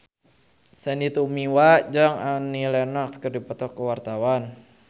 Sandy Tumiwa jeung Annie Lenox keur dipoto ku wartawan